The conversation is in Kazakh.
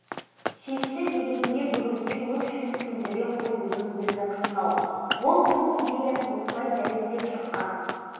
талай жылдан бері бастап әлем ғалымдары бас қатырып шеше алмаған ғасыр мәселесін қарапайым ауыл азаматы алашыбай